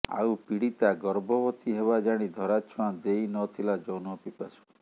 ଆଉ ପୀଡିତା ଗର୍ଭବତୀ ହେବା ଜାଣି ଧରାଛୁଆଁ ଦେଇନଥିଲା ଯୌନ ପିପାଶୁ